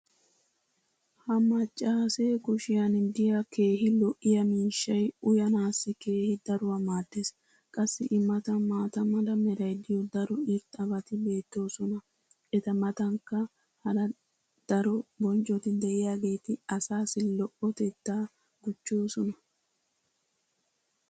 Ha maccaasse kushshiyan de'iya keehi lo'iya miishshay uyyanaassi keehi daruwa maadees. qassi i matan maata mala meray diyo daro irxxabati beetoosona. eta matankka hara ddaro bonccoti diyaageeti asaassi lo'otettaa gujjoosona.